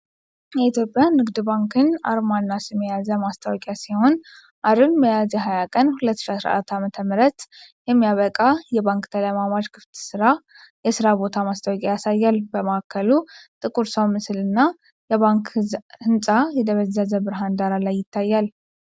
የኢትዮጵያ ንግድ ባንክን አርማና ስም የያዘ ማስታወቂያ ሲሆን፣ አርብ ሚያዝያ 20 ቀን 2014 ዓ.ም የሚያበቃ የባንክ ተለማማጅ ክፍት የሥራ ቦታ ማስታወቂያ ያሳያል። በማዕከሉ ጥቁር ሰው ምስል እና የባንክ ህንፃ በደበዘዘ ብርሃን ዳራ ላይ ይታያል።